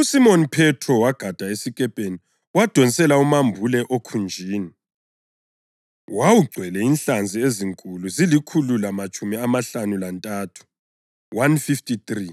USimoni Phethro wagada esikepeni, wadonsela umambule okhunjini. Wawugcwele inhlanzi ezinkulu, zilikhulu lamatshumi amahlanu lantathu (153),